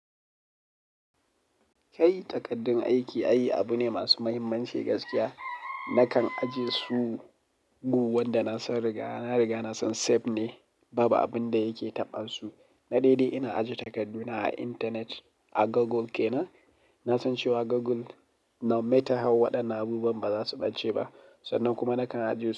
Kai takaddun aiki ai abu ne masu mahimmanci gaskiya. Nakan ajiye su gu wanda na san riga. Na riga na san safe ne, babu abin da yake taɓa su. Na dai dai ina ajiye takarduna a intanet, a Google ke nan. Na san cewa Google no matter how waɗannan abubuwan ba za su ɓace ba. Sannan kuma nakan ajiye su.